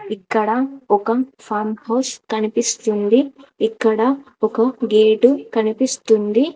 ఇక్కడ ఒక farm house కనిపిస్తుంది. ఇక్కడ ఒక గేటు కనిపిస్తుంది.